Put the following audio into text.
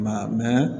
Ma mɛn